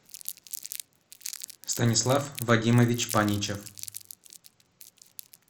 станислав вадимович паничев